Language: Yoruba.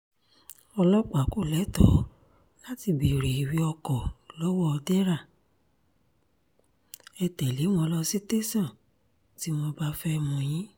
ọlọ́pàá kò lẹ́tọ̀ọ́ láti béèrè ìwé-ọkọ lọ́wọ́ dẹ́ra ẹ̀ tẹ́lẹ̀ wọn ló sì tẹ̀sán tí wọ́n bá fẹ́ẹ́ mú yín